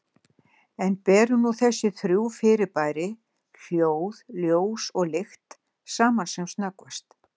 En berum nú þessi þrjú fyrirbæri, hljóð, ljós og lykt, saman sem snöggvast.